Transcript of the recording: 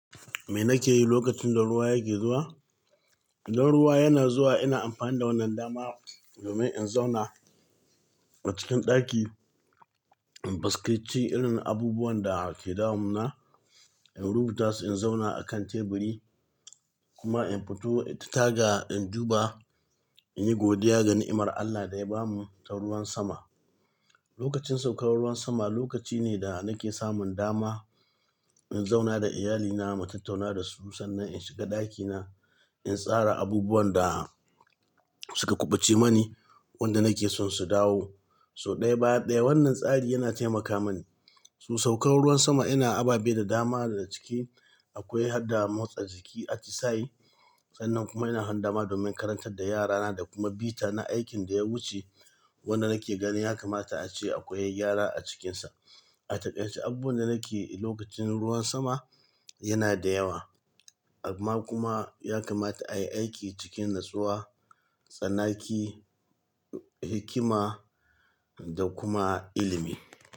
Me nake yi lokacin da ruwa yake zuwa? Idan ruwa yana zuwa, ina amfani da wannan dama domin in zauna a cikin ɗaki, in faskirci irin abubuwan da ke damun na, in rubuta su, in zauna a kan teburi kuma in fito, in taga, in duba, in yi godiya ga ni'imar Allah da ya bamu ta ruwan sama. Lokacin saukar ruwan sama lokaci ne da nake samun dama in zauna da iyalina, mu tattauna da su sannan in shiga ɗakina, in tsara abubuwan da suka kuɓuce mani, wanda nake son su dawo. So ɗaya ba ɗaya, wannan tsari yana taimaka mani. Su saukar ruwan sama ina ababe da dama da ciki akwai hadda motsa jiki exercise. Sannan kuma ina yin hadama domin karantar da yarana da kuma bi ta na aikin da ya wuce wanda nake ganin ya kamata ace akwai gyara a cikinsa. A taƙaice, abubuwan da nake yi lokacin ruwan sama yana da yawa amma kuma ya kamata a yi aiki cikin natsuwa, tsanaki, hikima da kuma ilimi.